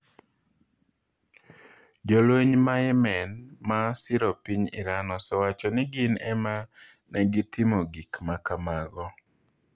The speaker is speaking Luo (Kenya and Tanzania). Jolweny ma Yemen ma siro piny Iran osewacho ni gin ema ne gitimo gik ma kamago.